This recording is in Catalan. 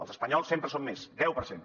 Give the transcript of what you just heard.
els espanyols sempre són més deu per cent